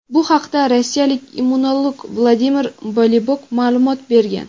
Bu haqda rossiyalik immunolog Vladimir Bolibok ma’lumot bergan.